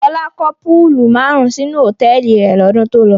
Fọlá kọ́ púúlù márùn-ún sínú hòtẹ́ẹ́lì rẹ̀ lọ́dún tó lọ.